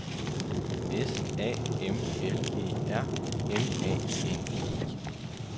S A M L E R M A N I